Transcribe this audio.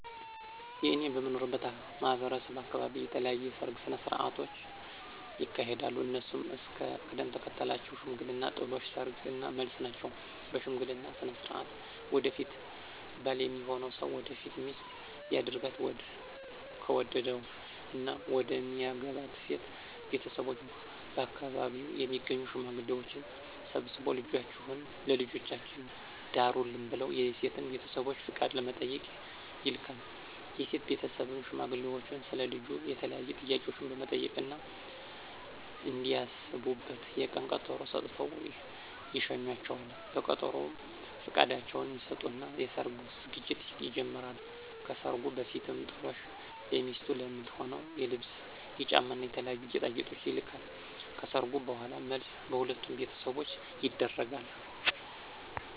እኔ በምኖርበት ማህበረሰብ አካበቢ የተለያዩ የሰርግ ስነ ሥርዓቶች ይካሄዳሉ። እነሱም እስከ ቅደም ተከተላቸው ሽምግልና፣ ጥሎሽ፣ ሰርግ እና መልስ ናቸው። በሽምግልና ስነ ሥርዓት ወደፊት ባል ሚሆነው ሰው ወደፊት ሚስቱ ሊያደርጋት ከወደደው እና መደሚያገባት ሴት ቤተሰቦች በአከባቢው የሚገኙ ሽማግሌዎችን ሰብስቦ ልጃችሁን ለልጃችን ዳሩልን ብለው የሴትን ቤተሰቦች ፍቃድ ለመጠየቅ ይልካል። የሴት ቤተሰብም ሽማግሌዎቹን ስለ ልጁ የተለያዩ ጥያቄዎችን በመጠየቅ እና እንዲያስቡበት የቀን ቀጠሮ ሰጥተው ይሸኟቸዋል። በቀጠሮውም ፍቃዳቸውን ይሰጡና የሰርጉ ዝግጅት ይጀመራል። ከሰርጉ በፊትም ጥሎሽ ለሚስቱ ለምትሆነው የልብስ፣ የጫማ እና የተለያዩ ጌጣጌጦች ይልካል። ከሰርጉ በኋላም መልስ በሁለቱም ቤተሰቦች ይደረጋል።